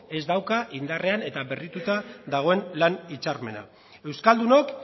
ez dauka indarrean eta berrituta dagoen lan hitzarmena euskaldunok